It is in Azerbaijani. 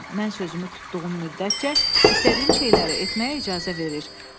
Mən sözümü tutduğum müddətcə istədiyim şeyləri etməyə icazə verir.